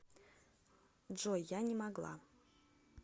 джой я не могла